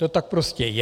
To tak prostě je.